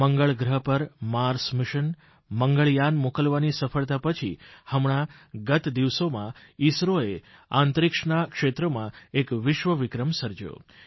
મંગળ ગ્રહ પર Mars mission Mangalyaan મોકલવાની સફળતા પછી હમણાં ગત દિવસોમાં ઇસરોએ અંતરિક્ષના ક્ષેત્રમાં એક વિશ્વ વિક્રમ સર્જયો